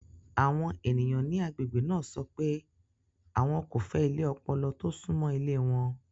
Àwọn ènìyàn ní agbègbè náà sọ pé àwọn kò fẹ́ ilé ọpọlọ tó súnmọ́ ilé wọn.